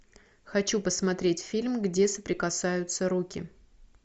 хочу посмотреть фильм где соприкасаются руки